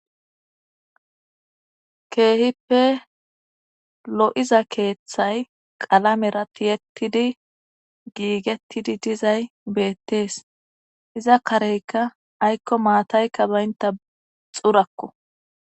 keehippe lo'iza keeththay qalamera tiyettidi giigettidi dizay beettees iza kareykka aykko maataykka baynta xurakko